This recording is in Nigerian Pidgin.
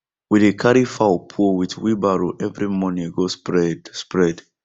we dey carry fowl poo with wheelbarrow every morning go spread spread